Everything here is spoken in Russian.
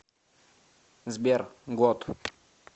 сбер год